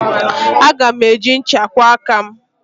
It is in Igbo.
Aga m eji ncha kwụọ aka m.